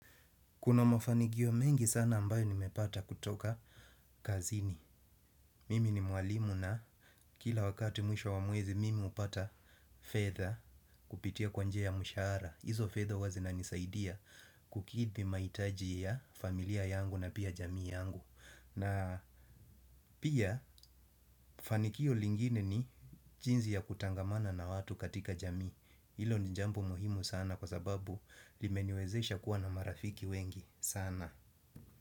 Kuna mafanikio mengi sana ambayo nimepata kutoka kazini. Mimi ni mwalimu na kila wakati mwisho wa mwezi mimi hupata fedha kupitia kwa njia ya mshahara hizo fedha huwa zinanisaidia kukidhi mahitaji ya familia yangu na pia jamii yangu. Na pia fanikio lingine ni jinsi ya kutangamana na watu katika jami. Hilo ni jambo muhimu sana kwa sababu limeniwezesha kuwa na marafiki wengi sana.